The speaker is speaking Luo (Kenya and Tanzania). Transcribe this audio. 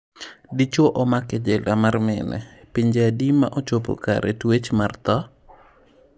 Dichuo omak e jela mar mine. Pinje adi ma chopo kare tuech mar tho?